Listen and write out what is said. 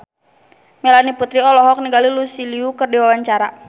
Melanie Putri olohok ningali Lucy Liu keur diwawancara